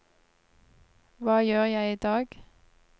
hva gjør jeg idag